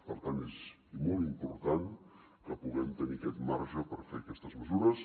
per tant és molt important que puguem tenir aquest marge per fer aquestes mesures